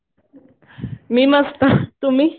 मी मस्त, तुम्ही?